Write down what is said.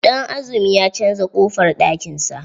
Danazumi ya canza ƙofar ɗakin sa.